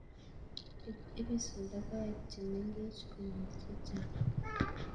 Ipisi logoek chemengech konyil chechang